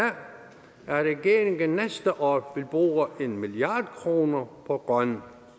at regeringen næste år vil bruge en milliard kroner på grøn